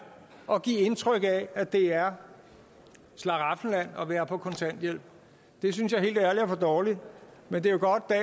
og give indtryk af at det er et slaraffenland at være på kontanthjælp det synes jeg helt ærligt er for dårligt men det er jo godt at